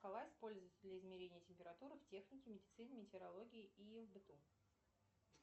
шкала используется для измерения температуры в технике медицине метеорологии и в быту